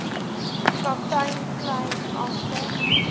kaptein kleyn agter